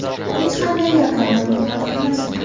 Hech qanday yordamga muhtoj emas edi.